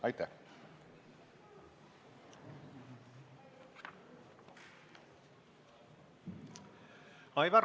Aitäh!